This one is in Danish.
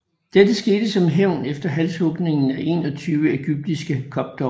Dette skete som hævn efter halshugningen af 21 egyptiske koptere